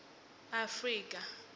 afrika